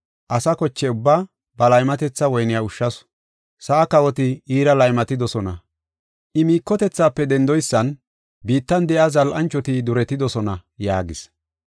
Asa koche ubbaa ba laymatetha woyniya ushshasu. Sa7aa kawoti iira laymatidosona. I miikotethaafe dendoysan biittan de7iya zal7anchoti duretidosona” yaagis.